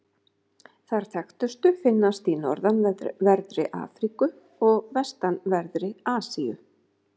Þær þekktustu finnast í norðanverðri Afríku og vestanverðri Asíu.